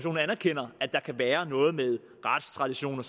anerkender at der kan være noget med retstradition